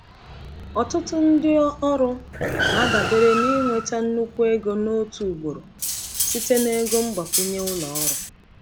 Ọtụtụ ndị ọrụ na-adabere n’ịnweta nnukwu ego n’otu ugboro site na ego mgbakwunye ụlọ ọrụ.